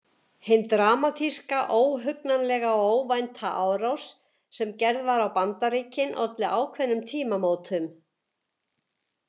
Hin dramatíska, óhugnanlega og óvænta árás sem gerð var á Bandaríkin olli ákveðnum tímamótum.